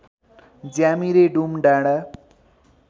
ज्यामिरे डुम डाँडा